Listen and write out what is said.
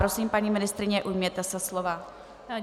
Prosím, paní ministryně, ujměte se slova.